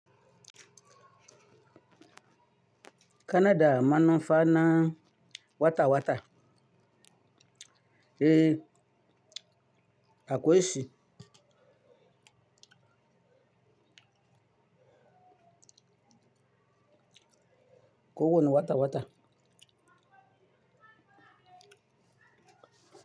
Kanada manufana wata-wata. Eh, akwai shi. Ko wani wata-wata?